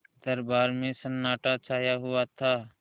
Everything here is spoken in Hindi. दरबार में सन्नाटा छाया हुआ था